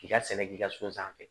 K'i ka sɛnɛ k'i ka so sanfɛ